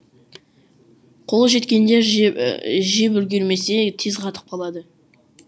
қолы жеткендер жеп жеп үлгермесе тез қатып қалады